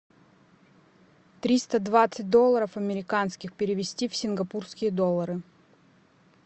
триста двадцать долларов американских перевести в сингапурские доллары